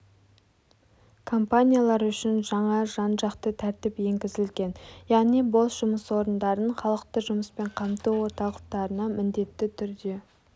компаниялар үшін жаңа жан-жақты тәртіп енгізілген яғни бос жұмыс орындарын халықты жұмыспен қамту орталықтарына міндетті түрде